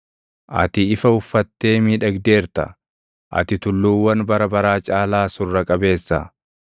Ati ifa uffattee miidhagdeerta; ati tulluuwwan bara baraa caalaa Surra qabeessa.